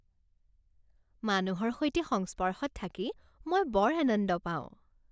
মানুহৰ সৈতে সংস্পৰ্শত থাকি মই বৰ আনন্দ পাওঁ।